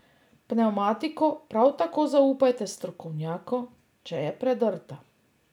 Pnevmatiko prav tako zaupajte strokovnjaku, če je predrta.